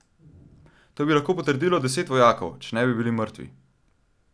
To bi lahko potrdilo deset vojakov, če ne bi bili mrtvi.